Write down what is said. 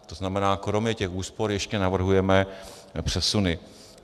To znamená, kromě těch úspor ještě navrhujeme přesuny.